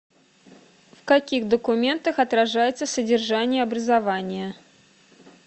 в каких документах отражается содержание образования